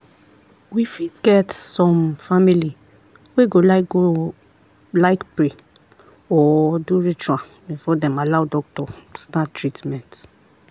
we fit get some family wey go like go like pray or do ritual before dem allow doctor start treament.